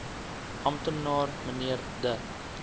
amptenaar mnr de